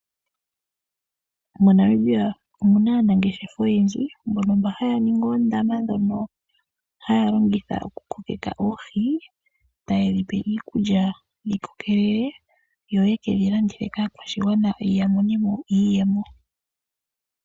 MoNamibia omuna ngaa aanangeshefa oyendji mbono haya ningi oondama opo yatule mo oohi, tayedhi pele mo iikulya dhi kokelele, etaye kedhi landitha kaakwashigwana yamone mo iiyemo.